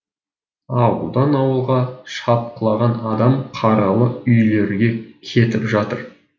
ауылдан ауылға шапқылаған адам қаралы үйлерге кетіп жатыр